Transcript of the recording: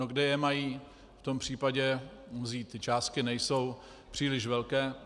No, kde je mají v tom případě vzít, ty částky nejsou příliš velké.